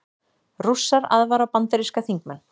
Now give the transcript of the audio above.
Rússar aðvara bandaríska þingmenn